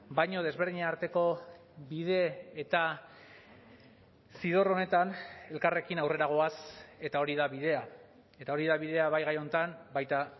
baina desberdinen arteko bide eta zidor honetan elkarrekin aurrera goaz eta hori da bidea eta hori da bidea bai gai honetan baita